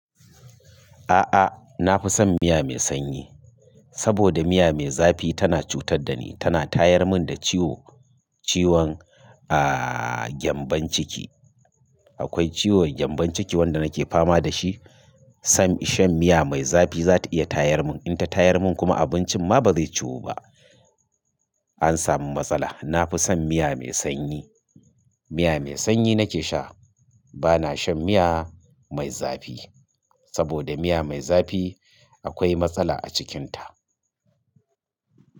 A'a, na fi son miya mai sanyi saboda miya mai zafi tana cutar da ni. Tana tayar mun da ciwo, ciwon, aaah, gyanbon ciki. Akwai ciwon gyanbon ciki wanda nake fama da shi. San shan miya mai zafi za ta iya tayar mun, in ta tayar mun kuma abincin ma ba zai ciwo ba. An samu matsala. Na fi son miya mai sanyi. Miya mai sanyi nake sha. Ba na shan miya mai zafi saboda miya mai zafi akwai matsala a cikinta.